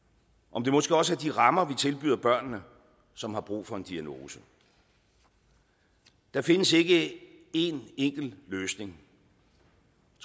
om det måske også er de rammer vi tilbyder børnene som har brug for en diagnose der findes ikke én enkelt løsning